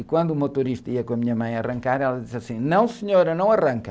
E quando o motorista ia com a minha mãe arrancar, ela disse assim, não senhora, não arranca.